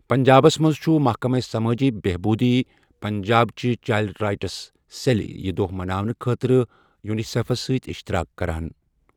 پنٛجابس منٛز چھُ محکمہ سَمٲجی بہبوُدی پنجابٕ چہِ چایلڈ رایٹس سٮ۪ل یہِ دۄہ مناونہٕ خٲطرٕ یونسٮ۪فَس سٕتۍ اشتراق کَران ۔